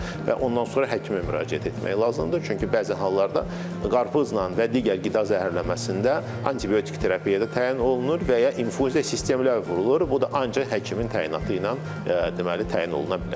Və ondan sonra həkimə müraciət etmək lazımdır, çünki bəzi hallarda qarpızla və digər qida zəhərlənməsində antibiotik terapiya da təyin olunur və ya infuziya sistemləri vurulur, bu da ancaq həkimin təyinatı ilə deməli təyin oluna bilər.